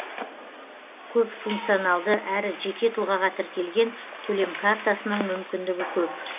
көпфункционалды әрі жеке тұлғаға тіркелген төлем картасының мүмкіндігі көп